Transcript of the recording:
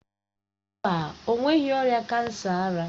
Mba, o nweghi ọrịa kansa ara.